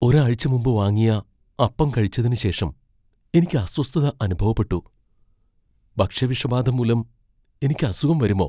ഒരാഴ്ച മുമ്പ് വാങ്ങിയ അപ്പം കഴിച്ചതിന് ശേഷം എനിക്ക് അസ്വസ്ഥത അനുഭവപ്പെട്ടു, ഭക്ഷ്യവിഷബാധ മൂലം എനിക്ക് അസുഖം വരുമോ?